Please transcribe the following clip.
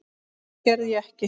En það gerði ég ekki.